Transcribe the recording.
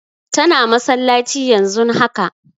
Tana masallaci yanzun haka